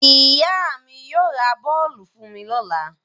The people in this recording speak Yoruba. Ìyá mi yóò ra bọ́ọ́lù fún mi lọ́la.